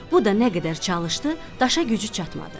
Bu da nə qədər çalışdı, daşa gücü çatmadı.